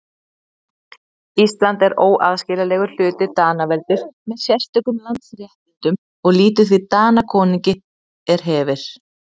Ísland er óaðskiljanlegur hluti Danaveldis með sérstökum landsréttindum og lýtur því Danakonungi er hefir.